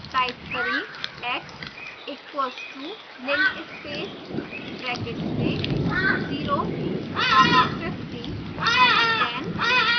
type करें x equals to linspace brackets में 0 comma 50 comma 10